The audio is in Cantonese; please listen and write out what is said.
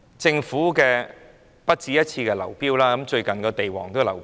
政府土地招標已不止一次出現流標，最近連地王也流標。